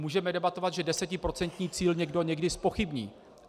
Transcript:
Můžeme debatovat, že desetiprocentní cíl někdo někdy zpochybní.